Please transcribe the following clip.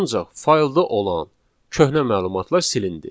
Ancaq faylda olan köhnə məlumatlar silindi.